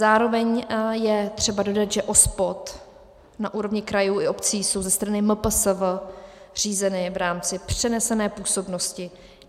Zároveň je třeba dodat, že OSPOD na úrovni krajů i obcí jsou ze strany MPSV řízeny v rámci přenesené působnosti.